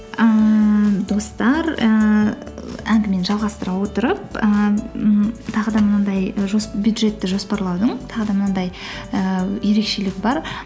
ііі достар ііі әңгімені жалғастыра отырып і ммм тағы да мынандай і бюджетті жоспарлаудың тағы да мынандай ііі ерекшелігі бар